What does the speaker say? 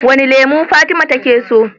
Wane lemo fatima take so?